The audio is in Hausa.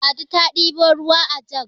ladi ta ɗebo ruwa ajag